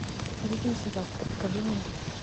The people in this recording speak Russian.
увидимся завтра покажи мне